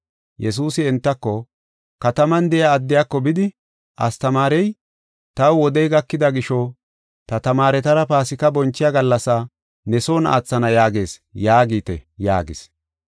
Yesuusi entako, “Kataman de7iya addiyako bidi, ‘Astamaarey, taw wodey gakida gisho, ta tamaaretara Paasika bonchiya gallasa ne son aathana yaagees’ yaagite” yaagis.